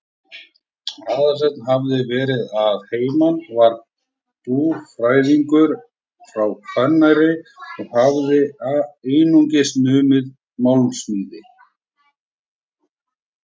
Aðalsteinn hafði verið að heiman, var búfræðingur frá Hvanneyri og hafði einnig numið málmsmíði.